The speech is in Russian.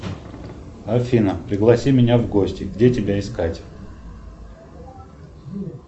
афина пригласи меня в гости где тебя искать